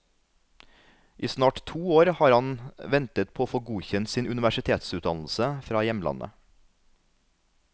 I snart to år har han ventet på å få godkjent sin universitetsutdannelse fra hjemlandet.